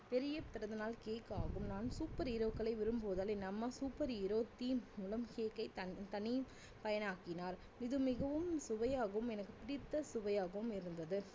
பெரிய பிறந்தநாள் cake ஆகும் நான் super hero க்களை விரும்புவதால் என் அம்மா super hero scene மூலம் cake ஐ தன்~தனி பயன் ஆக்கினார் இது மிகவும் சுவையாகவும் எனக்கு பிடித்த சுவையாகவும் இருந்தது